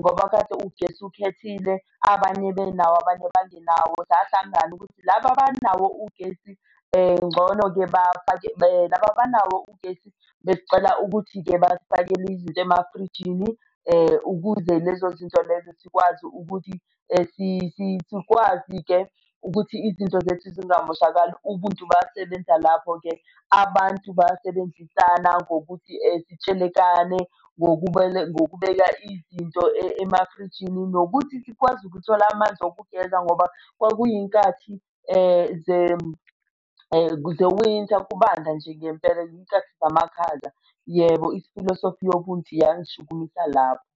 ngoba kade ugesi ukhethile, abanye benawo abanye bangenawo. Sahlangana ukuthi laba abanawo ugesi ngcono-ke bafake laba abanawo ugesi besicela ukuthi-ke basifakele izinto emafrijini ukuze lezo zinto lezo sikwazi ukuthi sikwazi-ke ukuthi izinto zethu zingamoshakali, ubuntu basebenza lapho-ke. Abantu bayasebenzisana ngokuthi sitshelekane ngokubeka, ngokubeka izinto emafrijini. Nokuthi sikwazi ukuthola amanzi wokugeza ngoba kwakuyinkathi ze-winter kubanda nje ngempela iy'nkathi zamakhaza. Yebo ifilosofi nyobuthi yangishukumisa lapho.